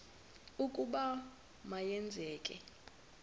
ukuba ma yenzeke